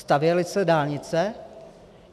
Stavěly se dálnice?